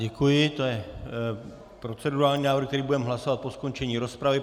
Děkuji, to je procedurální návrh, který budeme hlasovat po skončení rozpravy.